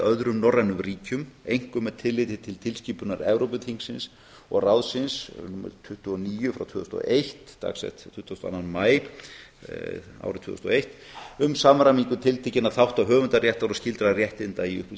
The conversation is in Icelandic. öðrum norrænum ríkjum einkum með tilliti til tilskipunar evrópuþingsins og ráðsins númer tuttugu og níu frá tvö þúsund og eitt dagsett tuttugasta og annan maí árið tvö þúsund og eitt um samræmingu tiltekinna þátta höfundaréttar og skyldra réttinda í